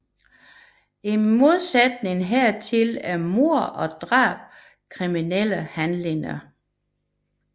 I modsætning hertil er mord og drab kriminelle handlinger